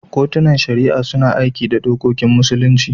Kotunan Shari'a suna aiki da dokokin Musulunci.